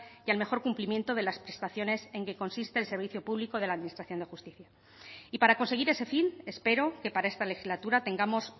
y al mejor cumplimiento de las prestaciones en que consiste el servicio público de la administración de justicia y para conseguir ese fin espero que para esta legislatura tengamos